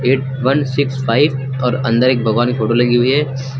Eight one six five और अंदर एक भगवान की फोटो लगी हुई है।